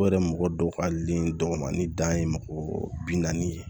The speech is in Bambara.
O yɛrɛ mɔgɔ dɔw ka li dɔgɔmani dan ye mɔgɔ binani ye